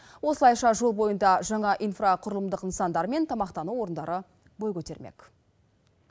осылайша жол бойында жаңа инфрақұрылымдық нысандар мен тамақтану орындары бой көтермек